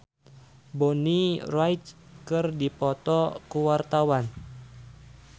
Stefan William jeung Bonnie Wright keur dipoto ku wartawan